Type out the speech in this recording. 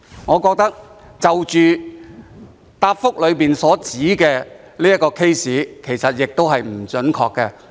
我覺得主體答覆中指出的個案的資料其實亦不準確。